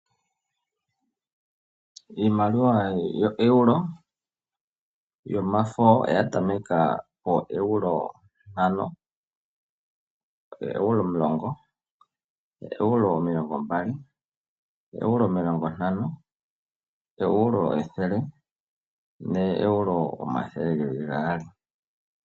Iimaliwa yoEuro yomafo oya tameka pooEuro ntano, ooEuro omulongo, ooEuro omilongo mbali, ooEuro omilongo ntano, ooEuro ethele nooEuro omathele geli gaali.